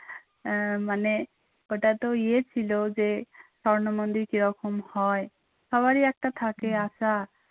আহ মানে ওটা তো ইয়ে ছিল যে স্বর্ণ মন্দির কী রকম হয় সবারই একটা থাকে আশা